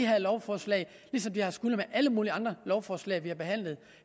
her lovforslag ligesom det har skullet i alle mulige andre lovforslag vi har behandlet